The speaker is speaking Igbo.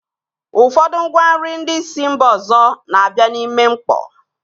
Ụfọdụ ngwa nri ndị si mba ọzọ na-abịa n'ime mkpọ.